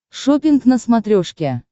шоппинг на смотрешке